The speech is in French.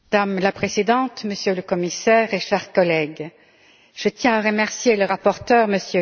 Madame la Présidente, Monsieur le Commissaire, chers collègues, je tiens à remercier le rapporteur, M.